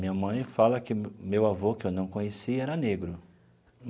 Minha mãe fala que meu avô, que eu não conheci, era negro.